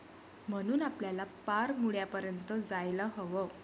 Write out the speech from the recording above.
म्हणून आपल्याला पार मुळापर्यंत जायला हवं.